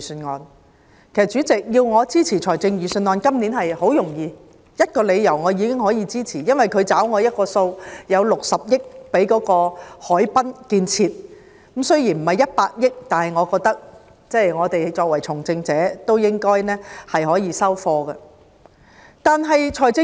其實，主席，如果要我支持預算案，今年十分容易，基於一個理由，我便可以支持，因為它已替我"找數"，預留了60億元於海濱建設上，雖然不是100億元，但我覺得，我們作為從政者，應該可以"收貨"了。